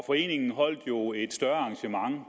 foreningen holdt jo et større arrangement